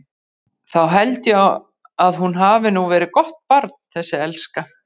Þá held ég að hún hafi nú verið gott barn þessi elska.